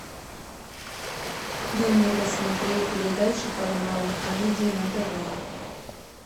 дай мне посмотреть передачу парамаунт камеди на тв